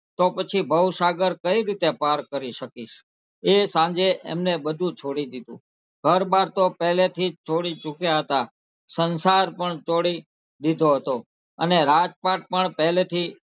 તો પછી ભવસાગર કઈ રીતે પાર કરી શકીશ એ સાંજે એમને બધું છોડી દીધું ઘર બાર તો પહેલીથી જ છોડી ચુક્યા હતાં સંસાર પણ છોડી દીધો હતો અને રાજપાઠ પણ પહેલીથી,